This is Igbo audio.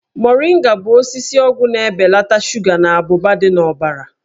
Moringa bụ osisi ọgwụ na-ebelata shuga na abụba dị n'ọbara.